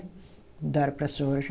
Mudaram para soja.